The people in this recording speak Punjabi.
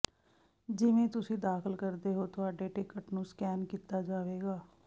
ਜਿਵੇਂ ਤੁਸੀਂ ਦਾਖਲ ਕਰਦੇ ਹੋ ਤੁਹਾਡੇ ਟਿਕਟ ਨੂੰ ਸਕੈਨ ਕੀਤਾ ਜਾਵੇਗਾ